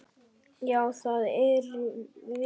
Já, það erum við.